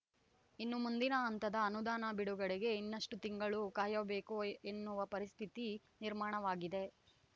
ಇನ್ನು ಮುಂದಿನ ಹಂತದ ಅನುದಾನ ಬಿಡುಗಡೆಗೆ ಇನ್ನೆಷ್ಟುತಿಂಗಳು ಕಾಯಬೇಕೋ ಎನ್ನುವ ಪರಿಸ್ಥಿತಿ ನಿರ್ಮಾಣವಾಗಿದೆ